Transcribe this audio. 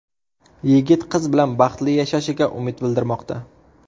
Yigit qiz bilan baxtli yashashiga umid bildirmoqda.